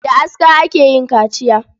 Da aska ake yin kaciya.